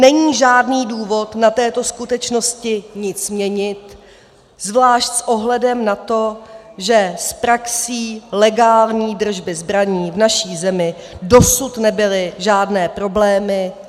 Není žádný důvod na této skutečnosti nic měnit, zvlášť s ohledem na to, že s praxí legální držby zbraní v naší zemi dosud nebyly žádné problémy.